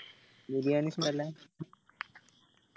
ബിരിയാണി ഇഷ്ട്ടല്ല